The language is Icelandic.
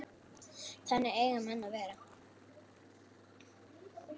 Þannig eiga menn að vera.